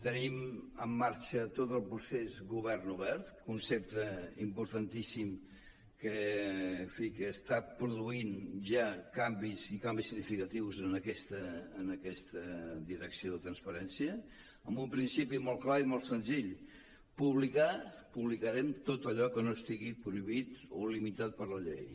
tenim en marxa tot el procés govern obert concepte importantíssim que en fi està produint ja canvis i canvis significatius en aquesta direcció de transparència amb un principi molt clar i molt senzill publicar publicarem tot allò que no estigui prohibit o limitat per la llei